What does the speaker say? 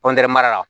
mara la